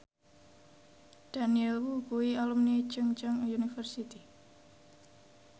Daniel Wu kuwi alumni Chungceong University